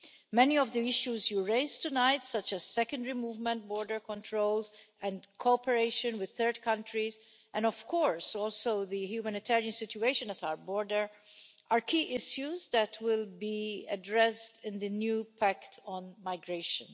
Many of the issues you raised tonight, such as secondary movement, border controls and cooperation with third countries and, of course, also the humanitarian situation at our border are key issues that will be addressed in the new pact on migration.